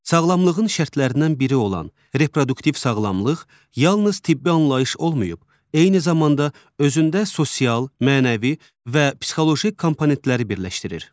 Sağlamlığın şərtlərindən biri olan reproduktiv sağlamlıq yalnız tibbi anlayış olmayıb, eyni zamanda özündə sosial, mənəvi və psixoloji komponentləri birləşdirir.